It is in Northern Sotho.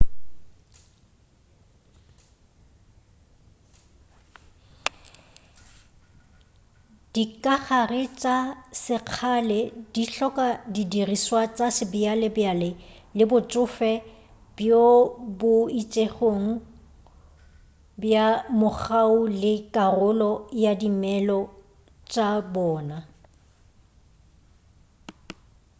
dikagare tša sekgale go hloka di dirišwa tša sebjabjale le botšofe bjo bo itšego bja mogau ke karolo ya dimelo tša bona